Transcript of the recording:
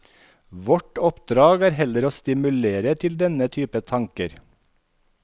Vårt oppdrag er heller å stimulere til denne typen tanker.